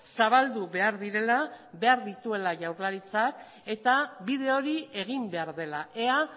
zabaldu behar direla behar dituela jaurlaritzak eta bide hori egin behar dela ea